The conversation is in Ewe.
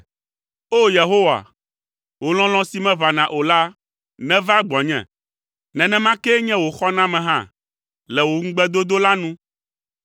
O! Yehowa, wò lɔlɔ̃ si meʋãna o la neva gbɔnye; nenema kee nye wò xɔname hã le wò ŋugbedodo la nu,